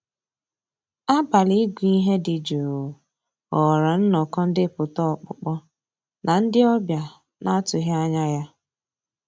Àbàlí ị́gụ́ íhé dị́ jụ́ụ́ ghọ́ọ́rà nnọ́kọ́ ndépụ́tà ọ́kpụ́kpọ́ ná ndị́ ọ̀bịá ná-àtụ́ghị́ ànyá yá.